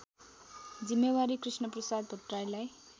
जिम्मेवारी कृष्णप्रसाद भट्टराईलाई